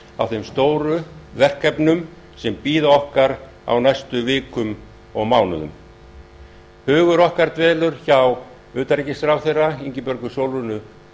á þeim stóru verkefnum sem bíða okkar á næstu vikum og mánuðum hugur okkar dvelur hjá utanríkisráðherra ingibjörgu sólrúnu